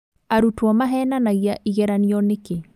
Arutwo mahenanagia igeranio nĩkĩ?